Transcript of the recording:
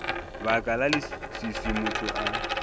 baka la leswiswi motho a